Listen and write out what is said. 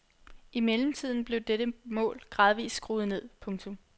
I mellemtiden blev dette mål gradvist skruet ned. punktum